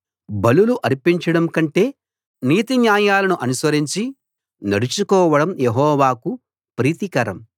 బలులు అర్పించడం కంటే నీతిన్యాయాలను అనుసరించి నడచు కోవడం యెహోవాకు ప్రీతికరం